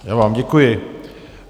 Já vám děkuji.